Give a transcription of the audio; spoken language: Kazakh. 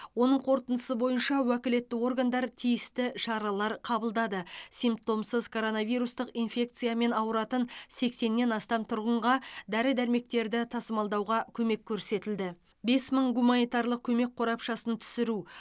оның қорытындысы бойынша уәкілетті органдар тиісті шаралар қабылдады симптомсыз коронавирустық инфекциямен ауыратын сексеннен астам тұрғынға дәрі дәрмектерді тасымалдауға көмек көрсетілді бес мың гуманитарлық көмек қорапшасын түсіру